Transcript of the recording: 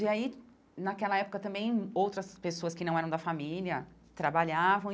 E aí, naquela época, também outras pessoas que não eram da família trabalhavam.